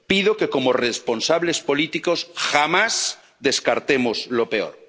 en lo peor pido que, como responsables políticos, jamás descartemos